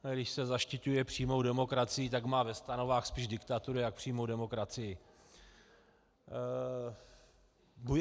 A když se zaštiťuje přímou demokracií, tak má ve stanovách spíš diktaturu než přímou demokracii.